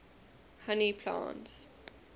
honey plants